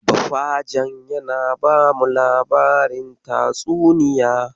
Bafajen yana bamu labarin tatsuniya.